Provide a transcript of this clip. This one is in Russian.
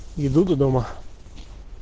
и буду дома